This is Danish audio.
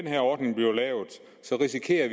er